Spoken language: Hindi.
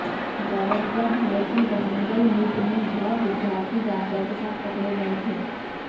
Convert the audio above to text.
गौरतलब है कि वरंगल निट में भ विद्यार्थी गांजा के साथ पकड़े गए थे